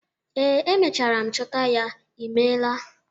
Ee, emechara m chọta ya. Ị meela.